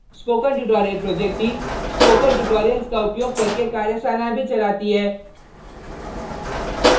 spoken tutorial project team spoken tutorials का उपयोग करके कार्यशालाएँ भी चलाती है